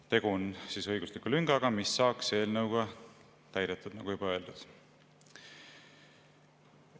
Tegu on õigusliku lüngaga, mis saaks eelnõuga täidetud, nagu juba öeldud.